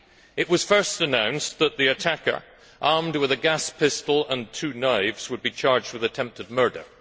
It was first announced that the attacker, armed with a gas pistol and two knives, would be charged with attempted murder.